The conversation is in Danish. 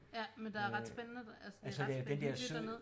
Ja men der er ret spændende altså det er ret hyggeligt dernede